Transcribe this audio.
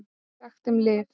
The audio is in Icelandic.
SAGT UM LIV